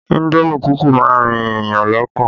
Indomi tútù má ń rin èèyàn lọ́kàn